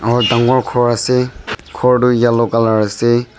aro dangor ghor ase ghor to yellow color ase.